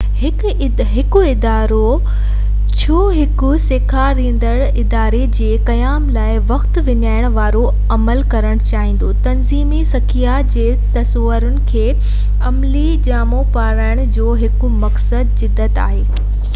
هڪ ادارو ڇو هڪ سکيا ڏيندڙ اداري جي قيام لاءِ وقت وڃائڻ وارو عمل ڪرڻ چاهيندو تنظيمي سکيا جي تصورن کي عملي جامو پارائڻ جو هڪ مقصد جدت آهي